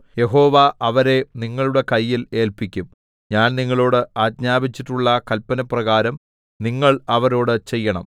യഹോവ അവരെ നിങ്ങളുടെ കയ്യിൽ ഏല്പിക്കും ഞാൻ നിങ്ങളോട് ആജ്ഞാപിച്ചിട്ടുള്ള കല്പനപ്രകാരം നിങ്ങൾ അവരോടു ചെയ്യണം